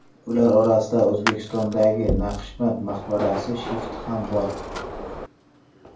Ular orasida O‘zbekistondagi Naqshband maqbarasi shifti ham bor.